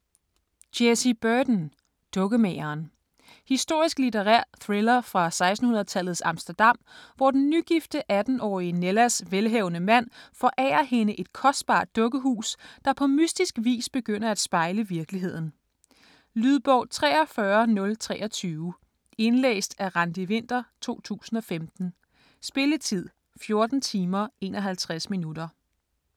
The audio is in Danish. Burton, Jessie: Dukkemageren Historisk litterær thriller fra 1600-tallets Amsterdam, hvor den nygifte 18-årige Nellas velhavende mand forærer hende et kostbart dukkehus, der på mystisk vis begynder at spejle virkeligheden. Lydbog 43023 Indlæst af Randi Winther, 2015. Spilletid: 14 timer, 51 minutter.